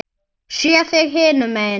Sé þig hinum megin.